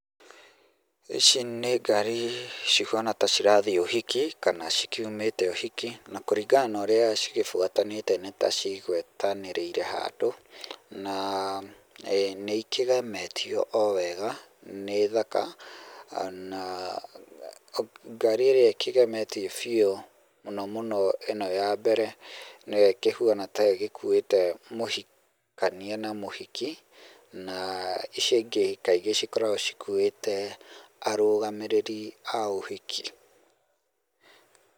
Ici nĩ ngari cihuana ta cirathiĩ ũhiki, kana cikiumĩte ũhiki, na kũringana na ũrĩa cigĩbuatanĩte nĩ ta cigwetanĩrĩire handũ, na nĩikĩgemetio o wega, nĩ thaka, na ngari ĩrĩa ĩkĩgemetio biũ mũno mũno, ĩno ya mbere, nĩyo ĩkĩhuana ta ĩgĩkuĩte mũhikania na mũhiki, na icio ingĩ kaingĩ cikoragwo cikuĩte arũgamĩrĩri a ũhiki.